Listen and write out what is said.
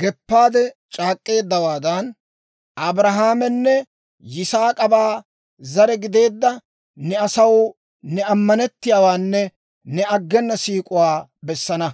geppaade c'aak'k'eeddawaadan, Abrahaamanne Yaak'ooba zare gideedda ne asaw ne ammanettiyaawaanne ne aggena siik'uwaa bessana.